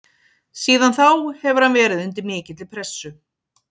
Síðan þá hefur hann verið undir mikilli pressu.